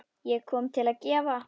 Ég kom til að gefa.